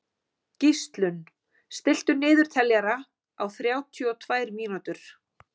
Gíslunn, stilltu niðurteljara á þrjátíu og tvær mínútur.